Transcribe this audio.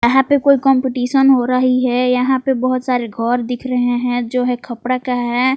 यहां पे कोई कंपटीशन हो रही है यहां पे बहुत सारे घर दिख रहे हैं जो है कपड़ा का है।